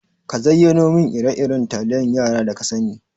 Ka zayyano min ire-iren taliyan yara da kasani.